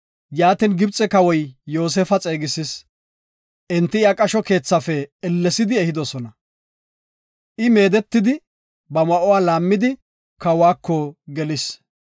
Yaatin, Gibxe Kawoy Yoosefa xeegisis. Enti iya qasho keethafe ellesidi ehidosona. I meedetidi ba ma7uwa laammidi, kawako gelis.